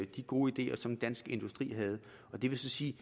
de gode ideer som dansk industri havde og det vil så sige